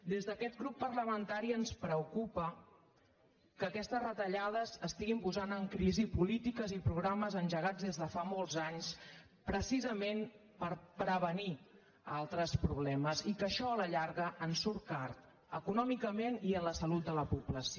des d’aquest grup parlamentari ens preocupa que aquestes retallades estiguin posant en crisi polítiques i programes engegats des de fa molts anys precisament per prevenir altres problemes i que això a la llarga ens surt car econòmicament i en la salut de la població